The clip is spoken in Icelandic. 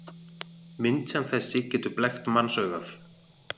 Mynd sem þessi getur blekkt mannsaugað.